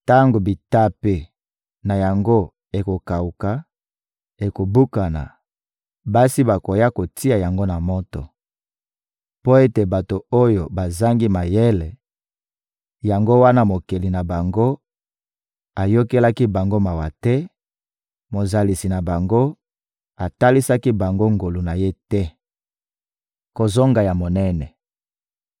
Tango bitape na yango ekokawuka, ekobukana; basi bakoya kotia yango na moto. Mpo ete bato oyo bazangi mayele, yango wana Mokeli na bango ayokelaki bango mawa te, Mozalisi na bango atalisaki bango ngolu na Ye te. Kozonga ya monene